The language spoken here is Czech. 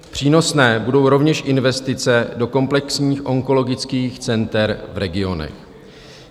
Přínosné budou rovněž investice do komplexních onkologických center v regionech.